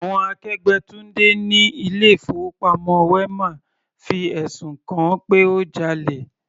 Àwọn akẹgbẹ́ Tunde ni ilé ìfowópamọ́ wema fi ẹ̀sùn kan-an pé ó jalè.